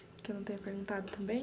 Que eu não tenha perguntado também?